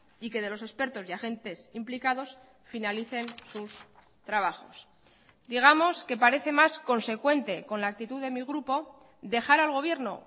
y que de los expertos y agentes implicados finalicen sus trabajos digamos que parece más consecuente con la actitud de mi grupo dejar al gobierno